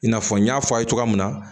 I n'a fɔ n y'a fɔ a' ye cogoya min na